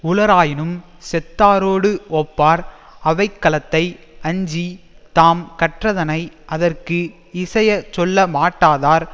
உளராயினும் செத்தாரோடு ஒப்பார் அவைக்களத்தை அஞ்சி தாம் கற்றதனை அதற்கு இசை சொல்லமாட்டாதார்